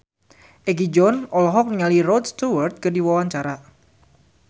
Egi John olohok ningali Rod Stewart keur diwawancara